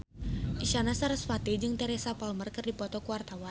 Isyana Sarasvati jeung Teresa Palmer keur dipoto ku wartawan